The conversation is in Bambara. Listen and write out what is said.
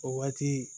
O waati